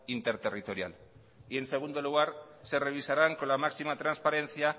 interterritorial y en segundo lugar se revisarán con la máxima transparencia